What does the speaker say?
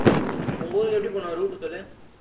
உங்க ஊருக்கு எப்படி போகணும் route சொல்லு